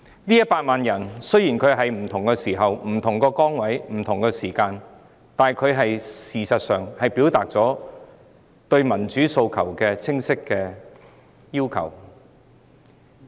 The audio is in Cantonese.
這100萬人雖在不同時間、不同崗位、不同地點投入運動之中，但事實上他們已清晰表達了其民主訴求。